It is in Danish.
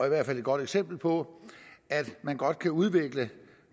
i hvert fald et godt eksempel på at man godt kan udvikle